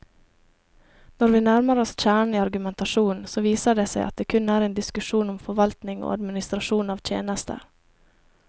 Når vi nærmer oss kjernen i argumentasjonen, så viser det seg at det kun er en diskusjon om forvaltning og administrasjon av tjenester.